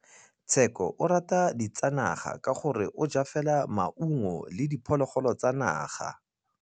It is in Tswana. Tshekô o rata ditsanaga ka gore o ja fela maungo le diphologolo tsa naga.